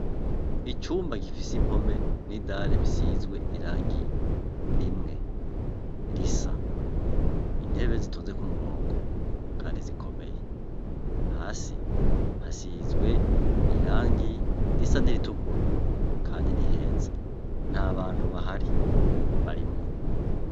Icumba gifise impome nidare isizwe irangi rimwe risa intebe zitonze kumurongo kandi zikomeye hasi hasinzwe irangi risa niritukura kandi niheza ntabantu bahari barimwo